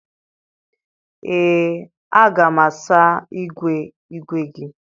ee, a ga m asa igwe igwe gi